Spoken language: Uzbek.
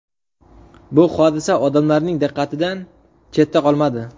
Bu hodisa odamlarning diqqatidan chetda qolmadi.